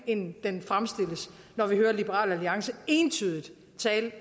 end liberal alliance